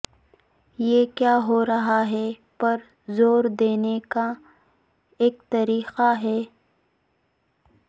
یہ کیا ہو رہا ہے پر زور دینے کا ایک طریقہ ہے